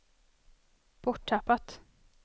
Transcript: borttappat